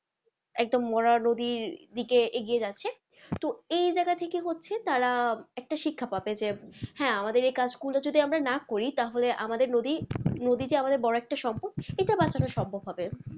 একদম মরা নদীর দিকে এগিয়ে যাচ্ছে তো এই জায়গা থেকে হচ্ছে তারা একটা শিক্ষা পাবে যে হ্যাঁ আমাদের এই কাজগুলো যদি আমরা না করি তাহলে আমাদের নদী নদী যে একটা আমাদের বড়ো সম্পদ এটা বাঁচানো সম্ভব হবে।